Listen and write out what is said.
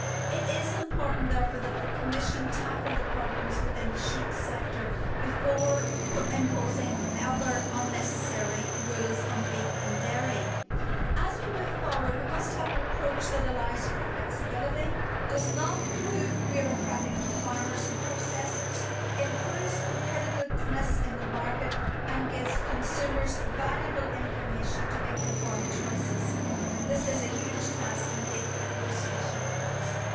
It is important, therefore, that the Commission tackle the problems within the sheep sector before imposing other unnecessary rules on beef and dairy. As we move forward we must have an approach that allows for flexibity, does not prove bureaucratic for farmers and processors, improves competitiveness in the market and gives consumers valuable information to make informed choices. This is a huge task indeed for negotiation with Council.